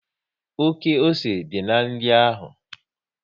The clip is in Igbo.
Oké ose dị na nri ahụ